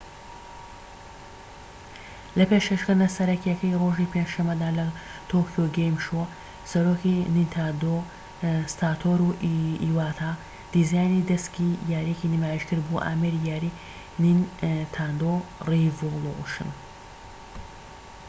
لە پێشکەشکردنە سەرەکیەکەی ڕۆژی پێنج شەمەدا لە تۆکیۆ گەیم شۆ، سەرۆکی نینتاندۆ ساتۆرو ئیواتا دیزاینی دەسکی یاریەکەی نمایشکرد بۆ ئامێری یاریی نینتاندۆ ڕیڤۆڵوشن